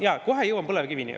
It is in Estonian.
Jaa, kohe jõuan põlevkivini.